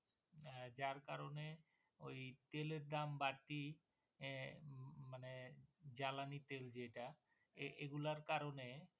যার কারণে ওই তেলের দাম বাড়তি, উম মানে জ্বালানি তেল যেটা এগুলার কারণে